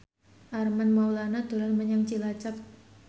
Armand Maulana dolan menyang Cilacap